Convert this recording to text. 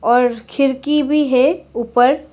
और खिड़की भी है ऊपर--